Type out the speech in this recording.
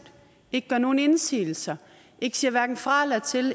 ikke gør nogen indsigelse ikke siger hverken fra eller til